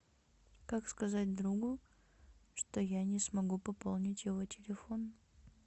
как сказать другу что я не смогу пополнить его телефон